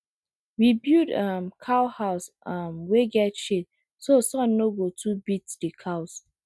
we build um cow house um wey get shade so sun no go too beat the cows